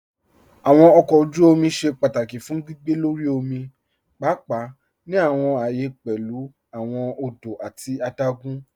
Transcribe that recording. Awọn ọkọ ojú òmì ṣẹ́ pátákì fún gbìgbé lọ́rí òmì, páàpáà ní awọn ààyẹ̀ pẹ̀lú awọn òdò àti àdágùn.